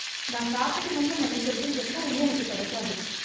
நான் சாப்பிடணும்னு நினைக்கிறது எப்பவுமே எனக்கு கிடைக்காது